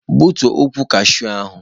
Gbutuo ukwu kashuu ahụ!